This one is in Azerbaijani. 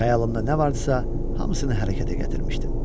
Xəyalımda nə var idisə, hamısını hərəkətə gətirmişdim.